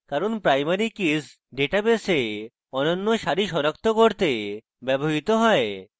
কারণ primary keys ডেটাবেসে অনন্য সারি সনাক্ত করতে ব্যবহৃত হয়